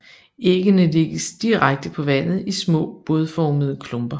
Æggene lægges direkte på vandet i små bådformede klumper